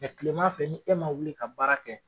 tilema fɛ ni e ma wuli ka baara kɛ